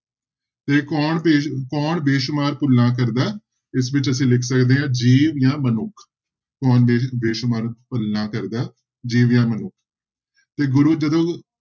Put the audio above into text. ਤੇ ਕੌਣ ਬੇ ਕੌਣ ਬੇਸੁਮਾਰ ਭੁੱਲਾਂ ਕਰਦਾ, ਇਸ ਵਿੱਚ ਅਸੀਂ ਲਿਖ ਸਕਦੇ ਹਾਂ ਜੀਵ ਜਾਂ ਮਨੁੱਖ, ਕੌਣ ਬੇ ਬੇਸੁਮਾਰ ਭੁੱਲਾਂ ਕਰਦਾ ਜੀਵ ਜਾਂ ਮਨੁੱਖ ਤੇ ਗੁਰੂ ਜਦੋਂ